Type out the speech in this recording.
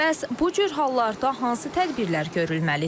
Bəs bu cür hallarda hansı tədbirlər görülməlidir?